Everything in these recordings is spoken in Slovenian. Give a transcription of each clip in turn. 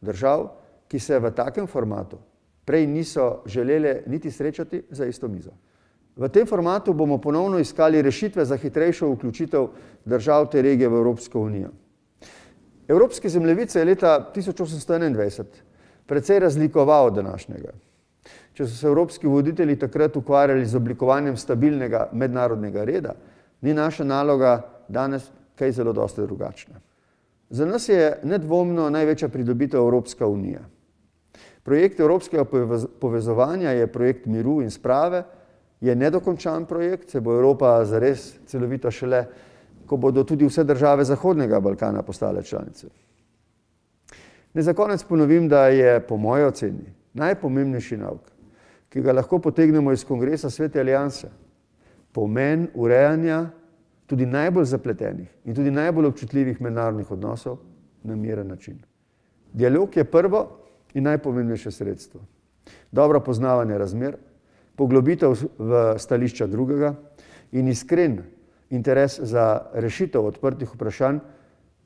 držav, ki se v takem formatu prej niso želele niti srečati za isto mizo. V tem formatu bomo ponovno iskali rešitve za hitrejšo vključitev držav te regije v Evropsko unijo. Evropski zemljevid se je leta tisoč osemsto enaindvajset precej razlikoval od današnjega. Če so se evropski voditelji takrat ukvarjali z oblikovanjem stabilnega mednarodnega reda, ni naša naloga danes kaj zelo dosti drugačna. Za nas je nedvomno največja pridobitev Evropska unija. Projekt evropskega povezovanja je projekt miru in sprave, je nedokončan projekt, saj bo Evropa celovita šele, ko bo tudi vse države zahodnega Balkana postale članice. Ne za konec ponovim, da je po moji oceni najpomembnejši nauk, ki ga lahko potegnemo iz kongresa Svete alianse, pomen urejanja tudi najbolj zapletenih in tudi najbolj občutljivih mednarodnih odnosov na miren način. Dialog je prvo in najpomembnejše sredstvo. Dobro poznavanje razmer, poglobitev v stališča drugega in iskren interes za rešitev odprtih vprašanj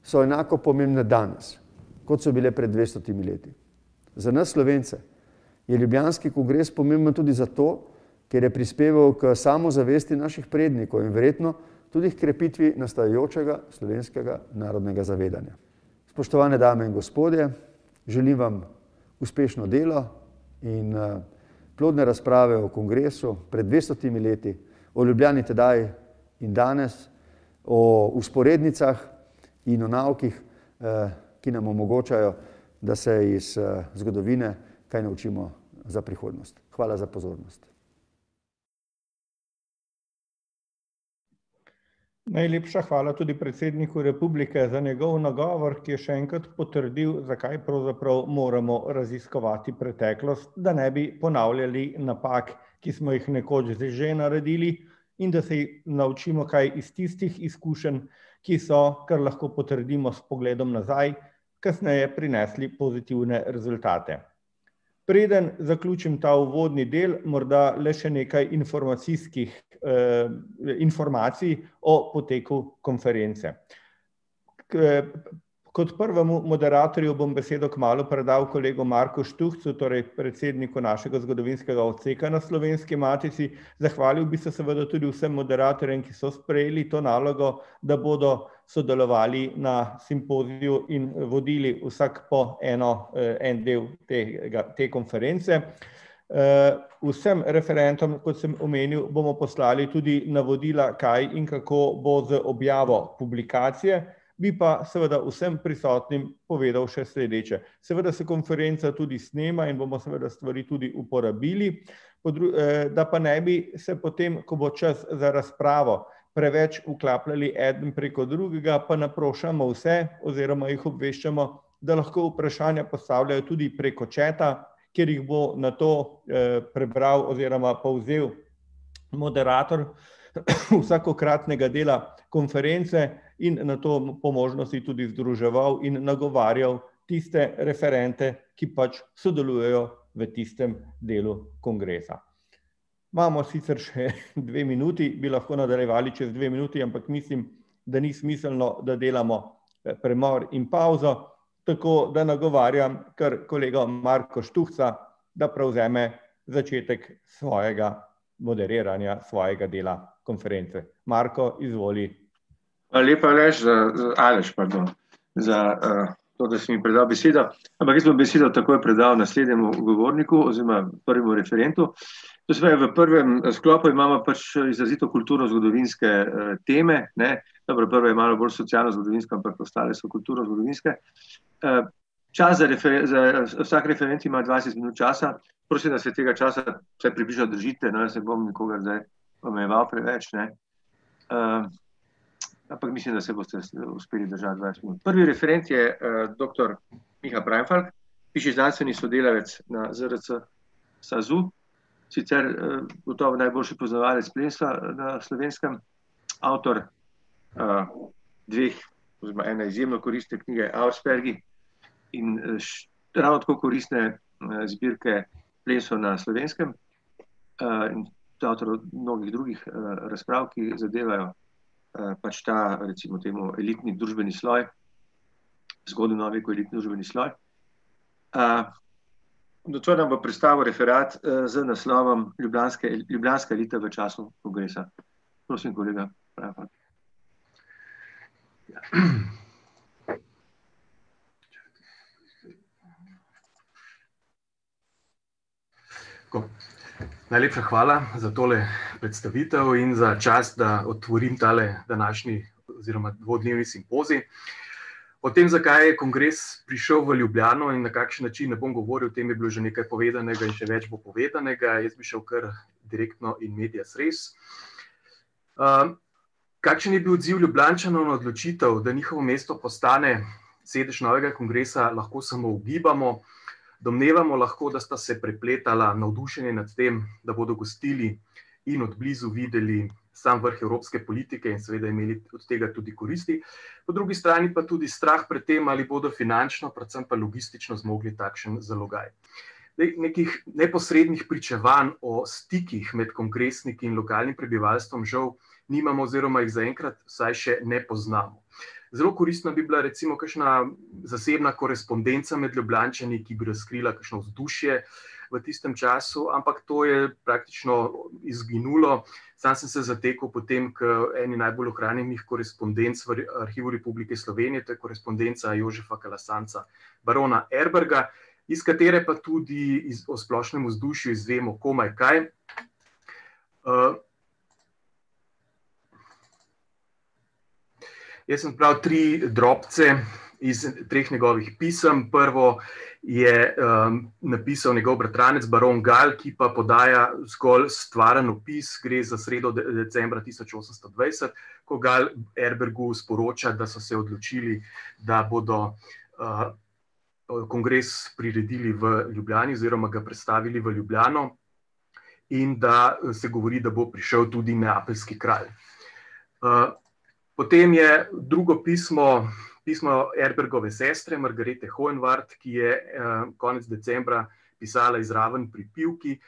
so enako pomembni danes, kot so bile pred dvestotimi leti. Za nas Slovence je ljubljanski kongres pomemben tudi zato, ker je prispeval k samozavesti naših prednikov in verjetno tudi h krepitvi nastajajočega slovenskega narodnega zavedanja. Spoštovane dame in gospodje, želim vam uspešno delo in, plodne razprave o kongresu pred dvestotimi leti v Ljubljani tedaj in danes, o vzporednicah in o naukih, ki nam omogočajo, da se iz, zgodovine kaj naučimo za prihodnost. Hvala za pozornost. Najlepša hvala tudi predsedniku republike za njegov nagovor, ki je še enkrat potrdil, za kaj pravzaprav moramo raziskovati preteklost, da ne bi ponavljali napak, ki smo jih nekoč že naredili, in da se naučimo kaj iz tistih izkušenj, ki so, kar lahko potrdimo s pogledom nazaj, kasneje prinesli pozitivne rezultate. Preden zaključim ta uvodni del, morda le še nekaj informacijskih, informacij o potekel konference. kot prvemu moderatorju bom besedo kmalu predal kolegu Marku Štuhcu, torej predsedniku našega zgodovinskega odseka na Slovenski matici, zahvalil bi se seveda tudi vsem moderatorjem, ki so sprejeli to nalogo, da bodo sodelovali na simpoziju in vodili vsak po eno, en del tega, te konference. vsem referentom, kot sem omenil, bomo poslali tudi navodila, kaj in kako bo z objavo publikacije, bi pa seveda vsem prisotnim povedal še sledeče: seveda se konferenca tudi snema in bomo seveda stvari tudi uporabili, po da pa ne bi se potem, ko bo čas za razpravo, preveč vklapljali eden preko drugega, pa naprošamo vse oziroma jih obveščamo, da lahko vprašanja postavljajo tudi preko chata, kjer jih bo nato, prebral oziroma povzel moderator vsakokratnega dela konference in nato po možnosti tudi združeval in nagovarjal tiste referente, ki pač sodelujejo v tistem delu kongresa. Imamo sicer še dve minuti, bi lahko nadaljevali čez dve minuti, ampak mislim, da ni smiselno, da delamo, premor in pavzo, tako da nagovarjam kar kolega Marka Štuhca, da prevzeme začetku svojega moderiranja svojega dela konference. Marko, izvoli. Hvala lepa, Aleš, Aleš, pardon, za, to, da si mi predal besedo. Ampak jaz bom besedo takoj predal naslednjemu govorniku oziroma prvemu referentu. To se pravi, v prvem sklopu imamo pač izrazito kulturnozgodovinske, teme, ne, dobro, prva je malo bolj socialnozgodovinska, ampak ostale so kulturnozgodovinske. čas za za ... Vsak referent ima dvajset minut časa prosim, da se tega časa vsaj približno držite, no, jaz ne bom nikogar zdaj omejeval preveč, ne. ampak mislim, da se boste uspeli držati dvajset minut. Prvi referent je, doktor Miha Preinfalk, višji znanstveni sodelavec na ZRC SAZU, sicer, gotovo najboljši poznavalec plemstva na Slovenskem, avtor, dveh oziroma ene izjemno koristne knjige, Auerspergi. In, ravno tako koristne, zbirke Plemstvo na Slovenskem. in avtor mnogih drugih, razprav, ki zadevajo, pač ta, recimo temu elitni družbeni sloj. Zgodnji novi sloj. nocoj nam bo predstavil referat, z naslovom Ljubljanska elita v času kongresa. Prosim, kolega Preinfalk. Tako. Najlepša hvala za tole predstavitev in za čast, da otvorim tale današnji oziroma dvodnevni simpozij. O tem, zakaj je kongres prišel v Ljubljano in na kakšen način, ne bom govoril, o tem je bilo že nekaj povedanega in še več bo povedanega. Jaz bi šel kar direktno in medias res. kakšen je bil odziv Ljubljančanov na odločitev, da njihovo mesto postane sedež novega kongresa, lahko samo ugibamo. Domnevamo lahko, da sta se prepletala navdušenje nad tem, da bodo gostili in od blizu videli sam vrh evropske politike in seveda imeli od tega tudi koristi. Po drugi strani pa tudi strah pred tem, ali bodo finančno, predvsem pa logistično zmogli takšen zalogaj. Zdaj nekih neposrednih pričevanj o stikih med kongresniki in lokalnim prebivalstvom žal nimamo oziroma jih zaenkrat vsaj še ne poznamo. Zelo koristna bi bila recimo kakšna zasebna korespondenca med Ljubljančani, ki bi razkrila kakšno vzdušje v tistem času, ampak to je praktično izginulo, samo sem se zatekel potem k eni najbolj ohranjenih korespodenc v Arhivu Republike Slovenije, to je korespondenca Jožefa Kalasanca, barona Erberga, iz katere pa tudi o splošnem vzdušju izvemo komaj kaj. ... Jaz sem zbral tri drobce iz treh njegovih pisem, prvo je, napisal njegov bratranec, baron Gal, ki pa podaja zgolj stvaren opis. Gre za sredo decembra tisoč osemsto dvajset, ko Gal Erbergu sporoča, da so se odločili, da bodo, kongres priredili v Ljubljani oziroma ga prestavili v Ljubljano, in da se govori, da bo prišel tudi neapeljski kralj. potem je drugo pismo, pismo Erbrgove sestre, Margarete Honvart, ki je, konec decembra pisala iz Ravno pri Pivki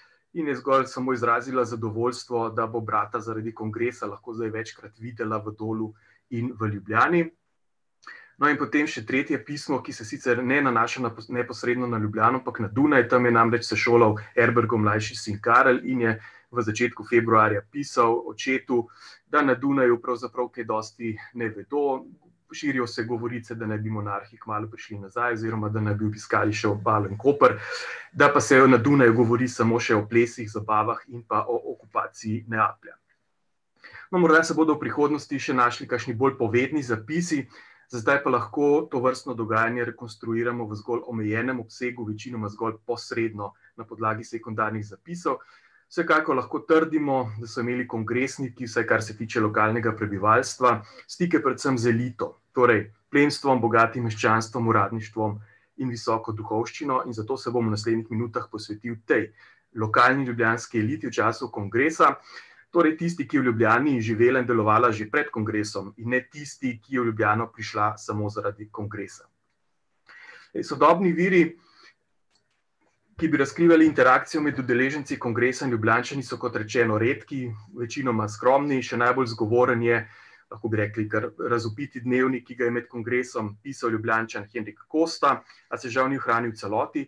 in je zgolj samo izrazila zadovoljstvo, da bo brata zaradi kongresa lahko zdaj večkrat videla v Dolu in v Ljubljani. No, in potem še tretje pismo, ki se sicer ne nanaša neposredno na neposredno na Ljubljano, ampak na Dunaj, tam je namreč se šolal Erbrgov mlajši sin Karel in je v začetku februarja pisal očetu, da na Dunaju pravzaprav kaj dosti ne vedo, širijo se govorice, da naj bi monarhi kmalu prišli nazaj oziroma da naj bi obiskali še Obalo in Koper, da pa se na Dunaju govori samo še o plesih, zabavah in pa o okupaciji Neaplja. No, morda se bodo v prihodnosti še našli kakšni bolj povedni zapisi, za zdaj pa lahko tovrstno dogajanje rekonstruiramo zgolj v omejenem obsegu, večinoma zgolj posredno na podlagi sekundarnih zapisov. Vsekakor lahko trdimo, da so imeli kongresniki, vsaj kar se tiče lokalnega prebivalstva, stike predvsem z elito, torej plemstvom, bogatim meščanstvom, uradništvom in visoko duhovščino, in zato se bom v naslednjih minutah posvetil tej lokalni ljubljanski eliti v času kongresa. Torej tisti, ki je v Ljubljani živela in delovala že pred kongresom, ne tisti, ki je v Ljubljano prišla samo zaradi kongresa. Sodobni viri, ki bi razkrivali interakcijo med udeleženci kongresa in Ljubljančani, so, kot rečeno, redki, večinoma skromni. Še najbolj zgovoren je lahko bi rekli kar razvpiti dnevnik, ki ga je med kongresom pisal Ljubljančan Henrik Kosta, a se žal ni ohranil v celoti.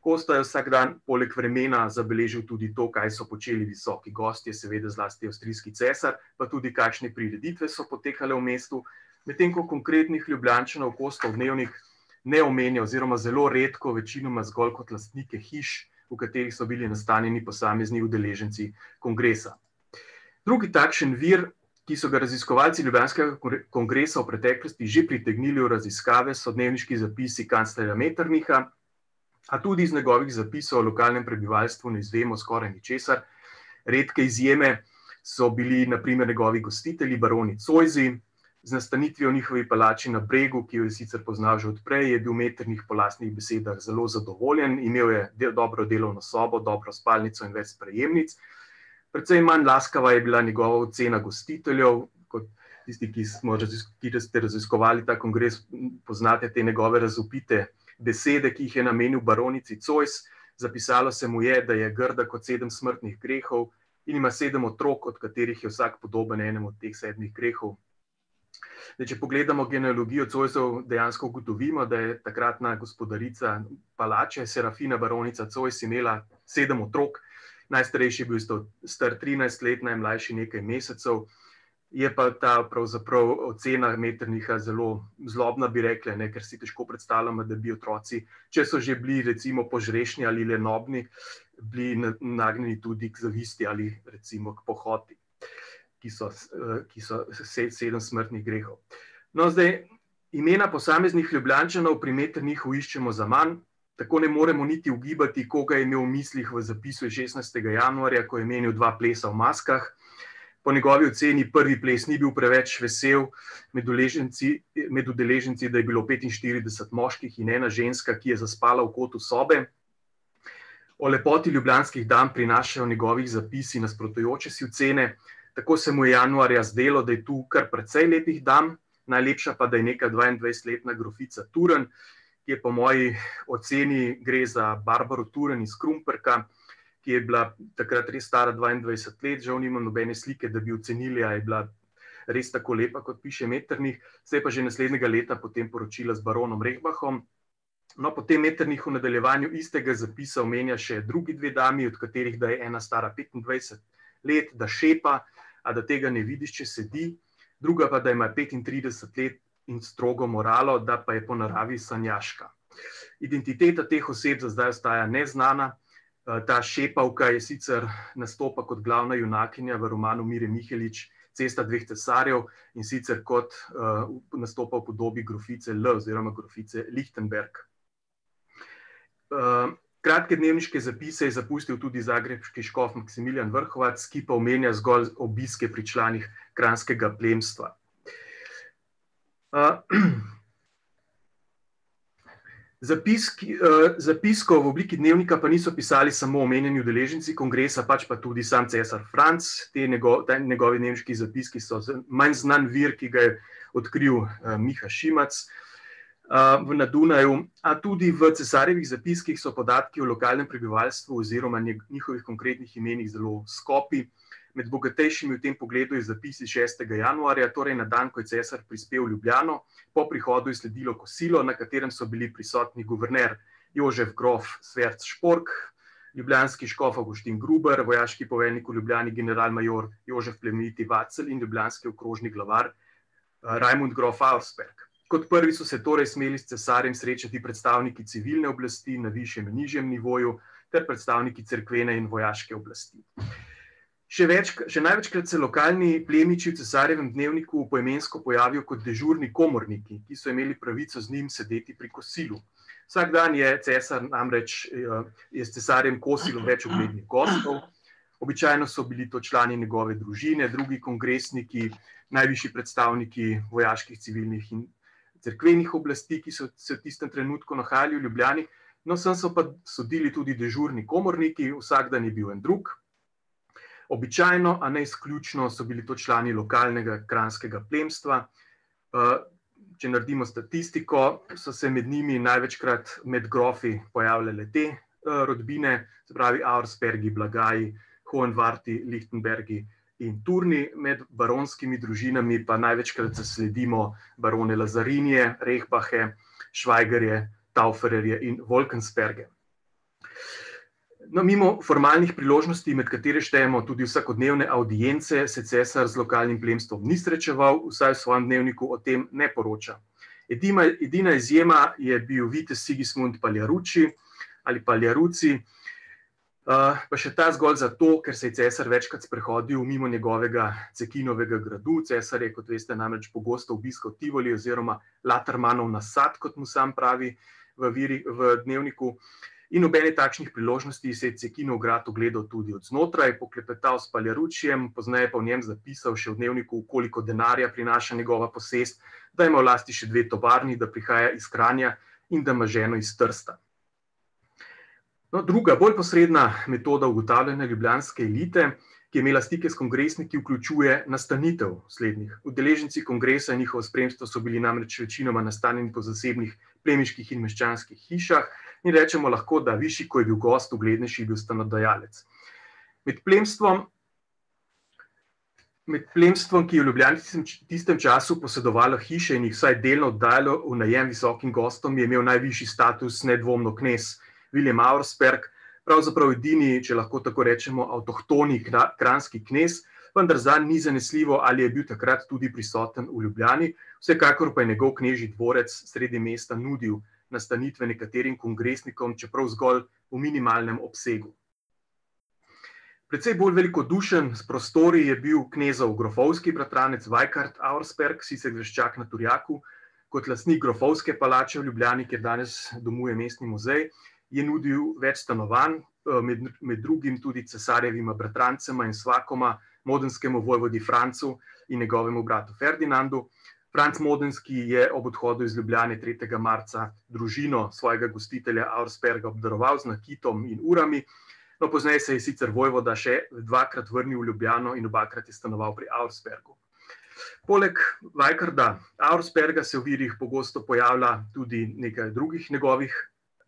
Kosta je vsak dan poleg vremena zabeležil tudi to, kaj so počeli visoki gostje, seveda zlasti avstrijski cesar, pa tudi kakšne prireditve so potekale v mestu. Medtem ko konkretnih Ljubljančanov Kostov dnevnik ne omenja oziroma zelo redko, večinoma zgolj kot lastnike hiš, v katerih so bili nastanjeni posamezni udeleženci kongresa. Drugi takšen vir, ki so ga raziskovalci ljubljanskega kongresa v preteklosti že pritegnili v raziskave, so dnevniški zapisi kanclerja Metternicha. A tudi iz njegovih zapisov o lokalnem prebivalstvu ne izvemo skoraj ničesar. Redke izjeme so bili na primer njegovi gostitelji, baroni Zoisi, z nastanitvijo v njihovi palači na Bregu, ki jo je sicer poznali že od prej, je bil Metternich po lastnih besedah zelo zadovoljen. Imel je dobro delovno sobo, dobro spalnico in več sprejemnic. Precej manj laskava je bila njegova ocena gostiteljev. Kot tisti, ki smo ste raziskovali ta kongres, poznate te njegove razvpite besede, ki jih je namenil baronici Zois: zapisalo se mu je, da je grda kot sedem smrtnih grehov in ima sedem otrok, od katerih je vsak podoben enemu od teh sedmih grehov. Zdaj, če pogledamo genealogijo Zoisov, dejansko ugotovimo, da je takratna gospodarica palače, Serafina baronica Zois, imela sedem otrok. Najstarejši je bil star trinajst let, najmlajši nekaj mesecev, je pa ta pravzaprav ocena Metternicha zelo zlobna, bi rekli, ne, ker si težko predstavljamo, da bi otroci, če so že bili, recimo, požrešni ali lenobni, bili nagnjeni tudi k zavisti ali recimo k pohoti, ki so ki so sedem smrtnih grehov. No, zdaj imena posameznih Ljubljančanov pri Metternichu iščemo zaman, tako ne moremo niti ugibati, koga je imel v mislih v zapisu iz šestnajstega januarja, ko je omenil dva plesa v maskah. Po njegovi oceni prvi ples ni bil preveč vesel, med uleženci, med udeleženci da je bilo petinštirideset moških in ena ženska, ki je zaspala v kotu sobe. O lepoti ljubljanskih dam prinašajo njegovi zapisi nasprotujoče si ocene, tako se mu je januarja zdelo, da je tu kar precej lepih dam, najlepša pa da je neka dvaindvajsetletna grofica Turn, ki po moji oceni gre za Barbaro Turn iz Krumperka, ki je bila takrat res stara dvaindvajset let, žal nimam nobene slike, da bi ocenili, a je bila res tako lepa, kot piše Metternich, se je pa že naslednjega leta potem poročila z baronom Reibachom. No, potem Metternich v nadaljevanju istega zapisa omenja še drugi dve dami, od katerih da je ena stara petindvajset let, da šepa, a da tega ne vidiš, če sedi. Druga pa da ima petintrideset let in strogo moralo, da pa je po naravi sanjaška. Identiteta teh oseb za zdaj ostaja neznana, ta šepavka je sicer, nastopa kot glavna junakinja v romanu Mire Mihelič, Cesta dveh cesarjev, in sicer kot, nastopa v podobi grofice L oziroma grofice Lichtenberg. kratke dnevniške zapise je zapustil tudi zagrebški škof Maksimilijan Vrhovac, ki pa omenja zgolj obiske pri članih kranjskega plemstva. ... zapiskov v obliki dnevnika pa niso pisali samo omenjeni udeleženci kongresa, pač pa tudi sam cesar Franc, te te njegovi dnevniški zapiski so manj znan vir, ki ga je odkrili, Miha Šimac, na Dunaju. A tudi v cesarjevih zapiskih so podatki o lokalnem prebivalstvu oziroma njihovih konkretnih imenih zelo skopi. Med bogatejšimi v tem pogledu je zapis iz šestega januarja, torej na dan, ko je cesar prispel v Ljubljano. Po prihodu je sledilo kosilo, na katerem so bili prisotni guverner Jožef grof Schwerzpork, ljubljanski škof Avguštin Gruber, vojaški poveljnik v Ljubljani, general major Jožef Plemeniti Vacel, in ljubljanski okrožni glavar, Rajmond grof Auersperg. Kot prvi so se torej smeli s cesarjem srečati predstavniki civilne oblasti, na višjem in nižjem nivoju, ter predstavniki cerkvene in vojaške oblasti. Še še največkrat se lokalni plemiči v cesarjevem dnevniku poimensko pojavijo kot dežurni komorniki, ki so imeli pravico z njim sedeti pri kosilu. Vsak dan je cesar namreč je s cesarjem kosilo več uglednih gostov, običajno so bili to člani njegove družine, drugi kongresniki, najvišji predstavniki vojaških, civilnih in cerkvenih oblasti, ki so se v tistem trenutku nahajali v Ljubljani. No, sem so pa sodili tudi dežurni komorniki, vsak dan je bil en drug. Običajno, a ne izključno, so bili to člani lokalnega kranjskega plemstva, če naredimo statistiko, so se med njimi največkrat med grofi pojavljale te, rodbine, se pravi Auerspergi, Blagaji, Honvarti, Lichtenbergi in Turni, med baronskimi družinami pa največkrat zasledimo barone Lazarinije, Rechbache, Schweigerje, Tauferje in Wolkensperge. No, mimo formalnih priložnosti, med katere štejemo tudi vsakodnevne avdience, se cesar z lokalnim plemstvom ni srečeval, vsaj v svojem dnevniku o tem ne poroča. edina izjema je bil vitez Sigismund Paliarucci ali Paliaruzi, pa še ta zgolj zato, ker se je cesar večkrat sprehodil mimo njegovega Cekinovega gradu, cesar je, kot veste, namreč pogosto obiskal Tivoli oziroma Latermanov nasad, kot mu sam pravi v v dnevniku. In ob eni takšni priložnosti si je Cekinov grad ogledal tudi odznotraj, poklepetal s Paliaruccijem, pozneje pa o njem zapisal še v dnevniku, koliko denarja prinaša njegova posest, da ima v lasti še dve tovarni, da prihaja iz Kranja in da ima ženo iz Trsta. No, druga, bolj posredna metoda ugotavljanja ljubljanske elite, ki je imela stike s kongresniki, vključuje nastanitev slednjih. Udeleženci kongresa, njihovo spremstvo, so bili namreč večinoma nastanjeni po zasebnih plemiških in meščanskih hišah in rečemo lahko, da višji, kot je bil gost, uglednejši je bil stanodajalec. Med plemstvom ... Med plemstvom, ki je v Ljubljani v tistem času posedovalo hiše in jih vsaj delno oddajalo v najem visokim gostom, je imel najvišji status nedvomno knez Viljem Auersperg, pravzaprav edini, če lahko tako rečemo, avtohtoni kranjski knez. Vendar zanj ni zanesljivo, ali je bil takrat tudi prisoten v Ljubljani, vsekakor pa njegov knežji dvorec sredi mesta nudil nastanitve nekaterim kongresnikom, čeprav zgolj v minimalnem obsegu. Precej bolj velikodušen s prostori je bil knezov grofovski bratranec Vajkard Auersperg, sicer graščak na Turjaku, kot lastnik grofovske palače v Ljubljani, kjer danes domuje Mestni muzej, je nudil več stanovanj, med drugim tudi cesarjevima bratrancema in svakoma modenskemu vojvodi Francu in njegovemu bratu Ferdinandu. Franc Modenski je ob obhodu iz Ljubljane tretjega marca družino svojega gostitelja Auersperga obdaroval z nakitom in urami, no, pozneje se je sicer vojvoda še dvakrat vrnil v Ljubljano in obakrat je stanoval pri Auerspergu. Poleg Vajkarda Auersperga se v virih pogosto pojavlja tudi nekaj drugih njegovih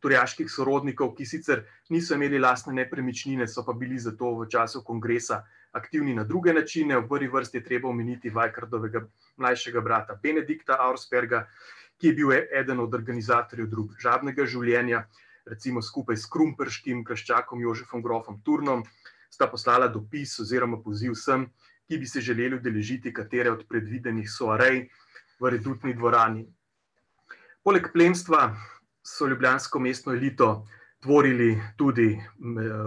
turjaških sorodnikov, ki sicer niso imeli lastne nepremičnine, so pa bili zato v času kongresa aktivni na druge načine, v prvi vrsti je treba omeniti Vajkardovega mlajšega brata Benedikta Auersperga, ki je bil eden od organizatorjev družabnega življenja, recimo skupaj s krumperškim graščakom Jožefom grofom Turnom sta poslala dopis oziroma poziv vsem, ki bi se želeli udeležiti katere od predvidenih soarej v redutni dvorani. Poleg plemstva so ljubljansko mestno elito tvorili tudi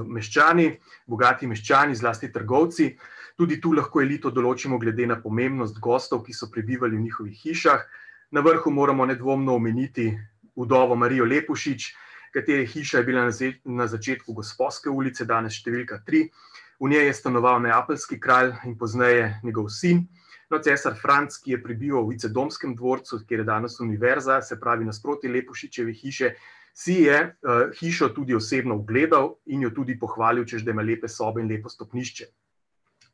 meščani, bogati meščani, zlasti trgovci. Tudi tu lahko elito določimo glede na pomembnost gostov, ki so prebivali v njihovih hišah. Na vrhu moramo nedvomno omeniti vdovo Marijo Lepušič, katere hiša je bila na začetku Gosposke ulice, danes številka tri, v njej je stanoval neapeljski kralj in pozneje njegov sin. No, cesar Franc, ki je prebival v Vicedomskem dvorcu, kjer je danes univerza, se pravi nasproti Lepušičeve hiše, si je, hišo tudi osebno ogledal in jo tudi pohvalil, češ da ima lepe sobe in lepo stopnišče.